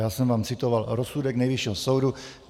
Já jsem vám citoval rozsudek Nejvyššího soudu.